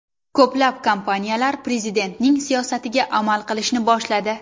Ko‘plab kompaniyalar Prezidentning siyosatiga amal qilishni boshladi.